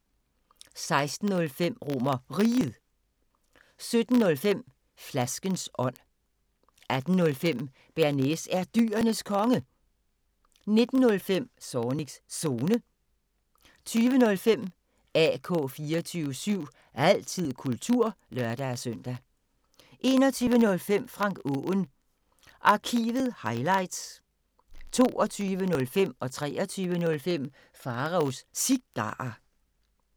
16:05: RomerRiget 17:05: Flaskens ånd 18:05: Bearnaise er Dyrenes Konge 19:05: Zornigs Zone 20:05: AK 24syv – altid kultur (lør-søn) 21:05: Frank Aaen Arkivet – highlights 22:05: Pharaos Cigarer 23:05: Pharaos Cigarer